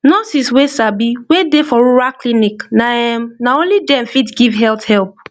nurses wey sabi wey dey for rural clinic na erm na only dem fit give health help